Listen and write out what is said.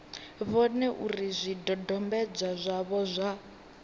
vhone uri zwidodombedzwa zwavho zwa